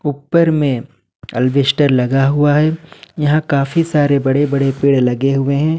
ऊपर में अल्बेस्टर लगा हुआ है यहां काफी सारे बड़े बड़े पेड़ लगे हुए हैं।